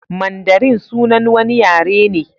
Mandarin sunan wani yare ne.